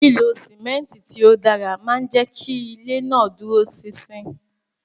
Lilo simenti ti o dara maa n jẹ ki ile naa duro sin-sin